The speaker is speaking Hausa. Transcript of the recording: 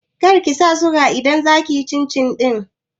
Kar kisa suga idan za kiyi cin cin ɗin